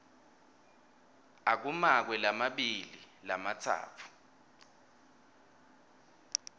akumakwe lamabili lamatsatfu